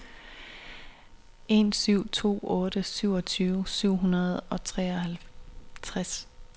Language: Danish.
en syv to otte syvogtyve syv hundrede og treoghalvtreds